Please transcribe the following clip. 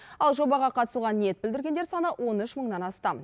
ал жобаға қатысуға ниет білдіргендер саны он үш мыңнан астам